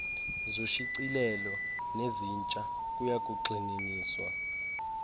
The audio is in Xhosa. zoshicilelo nezintsha kuyakugxininiswa